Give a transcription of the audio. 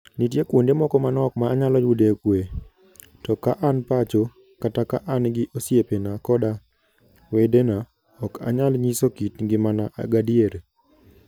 Nitie kuonde moko manok ma anyalo yude kuwe, to ka an pacho, kata ka an gi osiepena koda wedena, ok anyal nyiso kit ngimana gadier. "